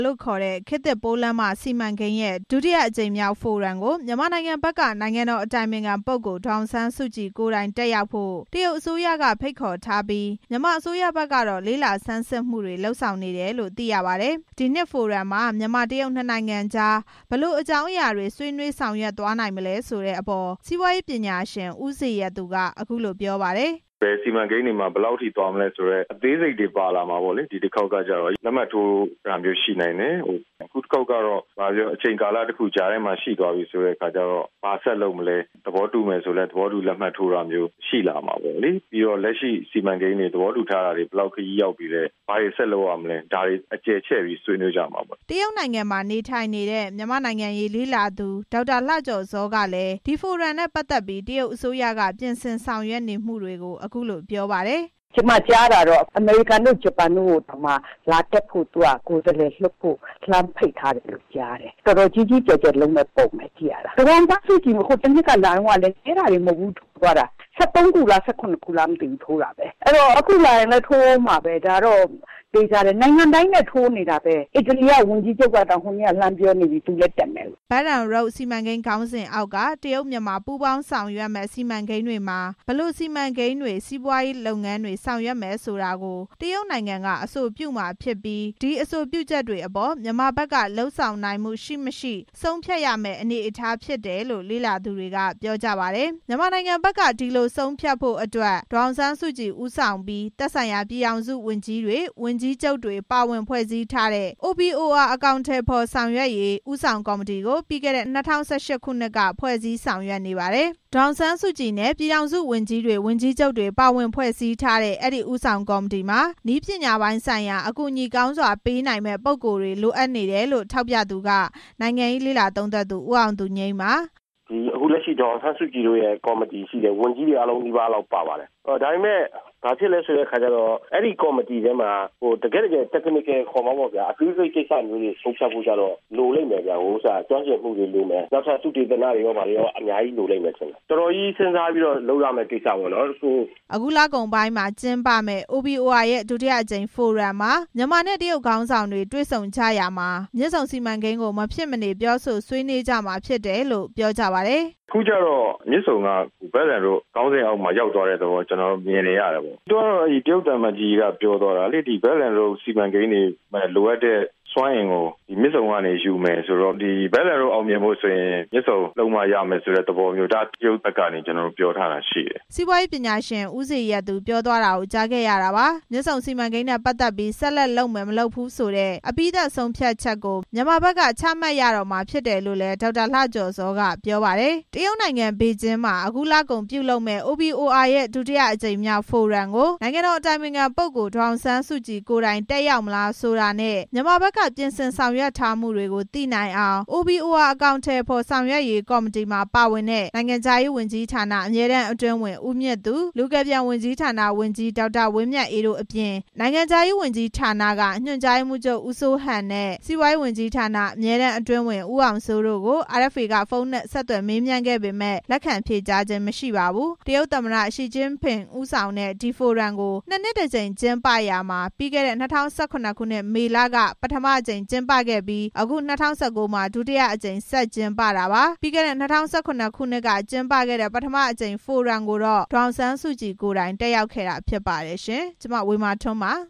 လို့ခေါ်တဲ့ ခေတ်သစ်ပိုးလမ်းမစီမံကိန်းရဲ့ ဒုတိယအကြိမ်မြောက်ဖိုရမ်ကို မြန်မာနိုင်ငံဘက်က နိုင်ငံတော် အတိုင်ပင်ခံပုဂ္ဂိုလ် ဒေါ်အောင်ဆန်းစုကြည်ကိုယ်တိုင် တက်ရောက်ဖို့ တရုတ် အစိုးရက ဖိတ်ခေါ်ထားပြီး မြန်မာအစိုးရဘက်ကတော့ လေ့လာစမ်းစစ်မှုတွေ လုပ်ဆောင်နေတယ်လို့ သိရပါတယ်။ ဒီနှစ် ဖိုရမ်မှာ မြန်မာ-တရုတ်နှစ်နိုင်ငံကြား ဘယ်လိုအကြောင်းအရာတွေ ဆွေးနွေးလုပ်ဆောင်သွားနိုင်မလဲ ဆိုတဲ့အပေါ် စီးပွားရေးပညာရှင် ဦးဇေယျသူ က အခုလိုပြောပါတယ်။ "ဘယ်စီမံကိန်းတွေမှာ ဘယ်လောက်ထိသွားမလဲ ဆိုတဲ့ အသေးစိတ်တွေ ပါလာမှာပေါ့လေ ဒီတစ်ခေါက်ကကျတော့ လက်မှတ်ထိုးတာမျိုး ရှိနိုင်တယ်။ အခုတစ်ခေါက်က ဘာပြောပြော အချိန်ကာလတစ်ခု ကြားထဲမှာ ရှိသွားပြီဆိုတဲ့အခါကျတော့ ဘာဆက်လုပ်မလဲ။ သဘောတူတယ်ဆိုလည်း သဘောတူလက်မှတ်ထိုးတာမျိုး ရှိလာမှာပေါ့။ ပြီးတော့ လက်ရှိသဘောတူထားတဲ့ စီမံကိန်းတွေ ဘယ်လောက်ခရီးရောက်ပြီလဲ။ ဘာတွေ ဆက်လုပ်ကြမလဲ။ ဒါတွေ အကျယ်ချဲ့ပြီး ဆွေးနွေးကြမှာပေါ့" တရုတ်နိုင်ငံမှာ နေထိုင်နေတဲ့ မြန်မာ့နိုင်ငံရေး လေ့လာသူ ဒေါက်တာ လှကျော်ဇောကလည်း ဒီဖိုရမ်နဲ့ ပတ်သက်ပြီး တရုတ်အစိုးရက ပြင်ဆင်ဆောင်ရွက်နေမှုတွေကို အခုလို ပြောပါတယ်။ "ကျွန်မကြားတာတော့ အမေရိကန်တို့ ဂျပန်တို့ကိုတောင် လာတက်ဖို့ ကိုယ်စားလှယ်လွှတ်ဖို့ ဖိတ်ထားတယ်လို့ ကြားတယ်။ တော်တော်ကြီးကြီးကျယ်ကျယ် လုပ်မယ့်ပုံပဲ ပုံစံကိုက၊ ဒေါ်အောင်ဆန်းစုကြည် ဟိုတစ်နှစ်က လာတုန်းကလည်း နည်းတာတွေ မဟုတ်ဘူး လက်မှတ်ထိုးသွားတာတွေ ၁၃ ခုလား ၁၇ ခုလားမသိဘူး ထိုးတာပဲ။ အဲ့တော့ အခုလာရင်လည်း ထိုးဦးမှာပဲ။ ဒါတော့သေချာတယ်။ နိုင်ငံတိုင်းနဲ့ ထိုးနေတာပဲ။ အီတလီက ဝန်ကြီးချုပ်ကတောင် လှမ်းပြောနေပြီ ဟိုတနေ့က သူလည်းတက်မယ်လို့" Belt and Road စီမံကိန်းခေါင်းစဉ်အောက်က တရုတ်-မြန်မာပူးပေါင်းဆောင်ရွက်မယ့် စီမံကိန်းတွေမှာ ဘယ်လို စီမံကိန်းတွေ၊ စီးပွားရေးလုပ်ငန်းတွေ ဆောင်ရွက်မယ်ဆိုတာကို တရုတ်နိုင်ငံက အဆိုပြုမှာဖြစ်ပြီး ဒီအဆိုပြု ချက်တွေအပေါ် မြန်မာဘက်က လုပ်ဆောင်နိုင်မှု ရှိ၊ မရှိ ဆုံးဖြတ်ရမယ့် အနေအထားဖြစ်တယ်လို့ လေ့လာသူတွေက ပြောကြပါတယ်။ မြန်မာနိုင်ငံဘက်က ဒီလိုဆုံးဖြတ်ဖို့အတွက် ဒေါ်အောင်ဆန်းစုကြည် ခေါင်းဆောင်ပြီး သက်ဆိုင်ရာ ပြည်ထောင် စုဝန်ကြီးတွေနဲ့ ဝန်ကြီးချုပ်တွေ ပါဝင်ဖွဲ့စည်းထားတဲ့ OBOR အကောင်အထည်ဖော်ဆောင်ရွက်ရေး ဦးဆောင် ကော်မတီကို ပြီးခဲ့တဲ့ ၂၀၁၈ ခုနှစ်က ဖွဲ့စည်းဆောင်ရွက်နေပါတယ်။ ဒေါ်အောင်ဆန်းစုကြည်နဲ့ပြည်ထောင်စုဝန်ကြီးတွေ၊ ဝန်ကြီးချုပ်တွေ ပါဝင်ဖွဲ့စည်းထားတဲ့ အဲ့ဒီဦးဆောင် ကော်မတီမှာ နည်းပညာပိုင်းဆိုင်ရာ အကူအညီကောင်းစွာ ပေးနိုင်မယ့် ပုဂ္ဂိုလ်တွေ လိုအပ်နေတယ်လို့ ထောက်ပြသူက နိုင်ငံရေးလေ့လာသုံးသပ်သူ ဦးအောင်သူငြိမ်းပါ။ "အခု ဒေါ်အောင်ဆန်းစုကြည်တို့ရဲ့ ကော်မတီရှိတယ်။ ဝန်ကြီးတွေအားလုံးနီးပါးလောက် ပါပါတယ်။ ဒါပေမဲ့ အဲဒီကော်မတီထဲမှာ တကယ့်တကယ် Technical ခေါ်မှာပေါ့ဗျာ။ အသေးစိတ်ကိစ္စတွေ ဆုံးဖြတ်ဖို့ကျတော့ လိုလိမ့်မယ်ဗျ။ ကျွမ်းကျင်မှုတွေလိုမယ်။ နောက်ထပ် သုတေသနတွေဘာတွေကော လိုလိမ့်မယ်။ တော်တော်ကြီး စဉ်းစားပြီးမှလုပ်ရမယ့် ကိစ္စပေါ့" အခုလကုန်ပိုင်း ကျင်းပမယ့် OBOR ရဲ့ ဒုတိယအကြိမ်ဖိုရမ်မှာ မြန်မာနဲ့ တရုတ်နိုင်ငံခေါင်းဆောင်တွေ တွေ့ဆုံ ကြရာမှာ မြစ်ဆုံစီမံကိန်းကိစ္စကို မဖြစ်မနေ ပြောဆိုဆွေးနွေးကြမှာ ဖြစ်တယ်လို့ ပြောကြပါတယ်။ "အခုကျတော့ မြစ်ဆုံက Belt and Road ခေါင်းစဉ်အောက်ရောက်သွားတဲ့ သဘောမျိုး ကျွန်တော်တော့ မြင်တယ်ဗျ။ တရုတ်သံအမတ်ကြီး ပြောသွားတာလေ။ Belt and Road စီမံကိန်းတွေနဲ့ ပတ်သက်ပြီးလိုအပ်တဲ့ စွမ်းအင်ကို မြစ်ဆုံကနေ ယူမယ်ဆိုတော့ ဒီ Belt and Road အောင်မြင်ဖို့ဆိုရင် မြစ်ဆုံလုပ်မှရမယ့် သဘောမျိုး တရုတ်ဘက်ကနေ ပြောထားတာရှိတယ်" စီးပွားရေးပညာရှင် ဦးဇေယျသူ ပြောသွားတာကို ကြားခဲ့ရတာပါ။ မြစ်ဆုံစီမံကိန်းနဲ့ ပတ်သက်ပြီး ဆက်လက်လုပ်မယ် မလုပ်ဘူးဆိုတဲ့ အပြီးသတ် ဆုံးဖြတ်ချက်ကို မြန်မာဘက်က ချမှတ်ရတော့မှာ ဖြစ်တယ်လို့လည်း ဒေါက်တာ လှကျော်ဇော ကပြောပါတယ်။ တရုတ်နိုင်ငံ ပေကျင်းမှာ အခုလကုန်ပြုလုပ်မယ့် OBOR ရဲ့ ဒုတိယအကြိမ်မြောက်ဖိုရမ်ကို နိုင်ငံတော် အတိုင်ပင်ခံပုဂ္ဂိုလ် ဒေါ်အောင်ဆန်းစုကြည် ကိုယ်တိုင်တက်ရောက်မလားဆိုတာနဲ့ မြန်မာဘက်က ပြင်ဆင်ဆောင်ရွက်ထားမှုတွေကို သိနိုင်အောင် OBOR အကောင်အထည်ဖော်ဆောင်ရွက်ရေး ဦးဆောင် ကော်မတီမှာ ပါဝင်တဲ့ နိုင်ငံခြားရေးဝန်ကြီးဌာန အမြဲတမ်းအတွင်းဝန် ဦးမြင့်သူ၊ လူကယ်ပြန်ဝန်ကြီးဌာန ဝန်ကြီး ဒေါက်တာ ဝင်းမြတ်အေးတို့ အပြင် နိုင်ငံခြားရေးဝန်ကြီးဌာနက ညွန်ကြားရေးမှူးချုပ် ဦးစိုးဟန်နဲ့ စီးပွားရေးဝန်ကြီးဌာန အမြဲတမ်းအတွင်းဝန် ဦးအောင်စိုးတို့ကို RFA က ဖုန်းနဲ့ ဆက်သွယ်မေးမြန်းခဲ့ပေမယ့် လက်ခံဖြေကြားခြင်း မရှိပါဘူး။ တရုတ်သမ္မတ ရှီကျင့်ဖျင် ဦးဆောင်ပြုလုပ်တဲ့ ဒီဖိုရမ်ကို နှစ်နှစ်တစ်ကြိမ် ကျင်းပရာမှာ ပြီးခဲ့တဲ့ ၂၀၁၇ ခုနှစ်၊ မေလက ပထမအကြိမ်ကျင်းပခဲ့ပြီး အခု ၂၀၁၉ မှာ ဒုတိယအကြိမ် ဆက်ကျင်းပတာပါ။ ပြီးခဲ့တဲ့ ၂၀၁၇ ခုနှစ်ကကျင်းပခဲ့တဲ့ ပထမအကြိမ်ဖိုရမ်ကိုတော့ ဒေါ်အောင်ဆန်းစုကြည်ကိုယ်တိုင် တက်ရောက်ခဲ့တာဖြစ်ပါတယ်ရှင်။ ကျွန်မ ဝေမာထွန်းပါ။